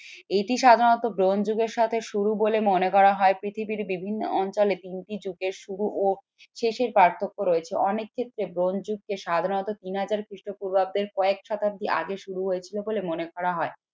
এটি সাধারণত ব্রোঞ্জ যুগের সাথে শুরু বলে মনে করা হয়। পৃথিবীর বিভিন্ন অঞ্চলে তিনটি যুগের শুরু ও শেষের পার্থক্য রয়েছে। অনেক ক্ষেত্রে ব্রোঞ্জ যুগকে সাধারণত তিন হাজার খ্রিস্টপূর্বাব্দের কয়েক শতাব্দী আগে শুরু হয়েছিল বলে মনে করা হয়।